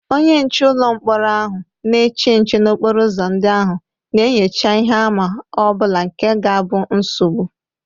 Onye nche ụlọ mkpọrọ ahụ na-eche nche n’okporo ụzọ ndị ahụ, na-enyocha ihe àmà ọ bụla nke ga abu nsogbu.